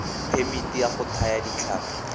phemiti ya go thaya ditlhapi